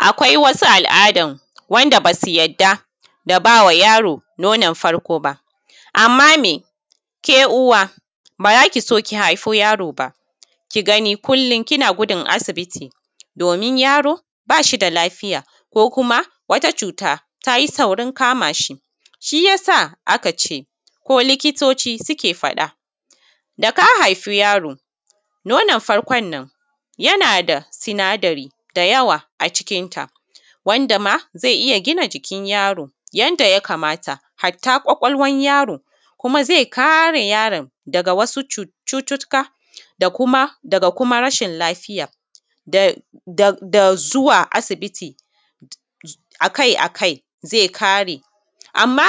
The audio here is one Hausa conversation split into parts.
Akwai wani al’adan wanda basu yadda da bama yaro nonon farko ba, amma me ke uwa bazaso ki haifo yaro ba kigani kullum kina gudun asibiti domin rayo bashida lafiya ko kuma wata cuta tayi saurin kamashi. Shiyasa a kace ko likitoci suke faɗa daka haifi yaro nonon farkonon yanada sinadari da yawa a cikin ta wanda zai gina jikin yaro, yanda ya kamata hatta kwakwalwan yaro zai kare yaron daga wasu cututtuka da kuma rashin lafiya da zuwa asibiti akai akai ze kare. Amma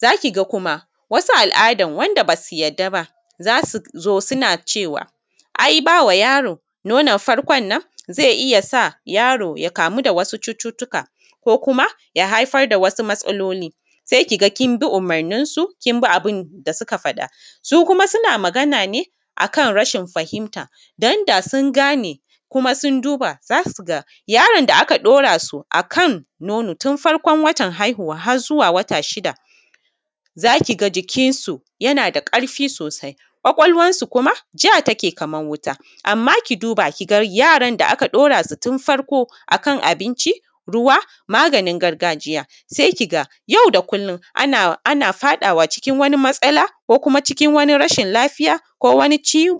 zakiga kuma wasu al’dan wanda basu yadda ba zasu zo suna cewa ai bawa yaro nonon farkon non zai iyyasa yaro ya kamu da wasu cututtuka ko kuma ya haifar da wasu matsaloli sai kiga kinbi umurnin su kinbi abinda suka faɗa. Su kuma suna Magana ne akan rashin fahimta danda sun gane kuma sun duba zasuga. Yaron da aka ɗorasu akan nono tun farkon watan haihuwa har zuwa wata shida zakiga jikin su yanada ƙarfi sosai. Kwakwalwansu kuma jatake kamar wuta, amma ki duba kiga yaran da aka ɗorasu tun farko akan abinci, ruwa, maganin gargajiya sai kiga yauda kullum ana faɗawa cikin wani matsala ko kuma cikin wani rashin lafiya, ko kuma ciwo.